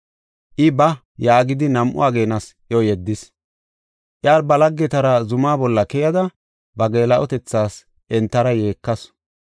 I, “Ba” yaagidi, nam7u ageenas iyo yeddis. Iya ba laggetara zumaa bolla keyada ba geela7otethaas entara yeekasu.